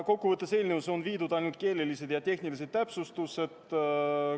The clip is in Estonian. Eelnõusse on tehtud ainult keelelised ja tehnilised täpsustused.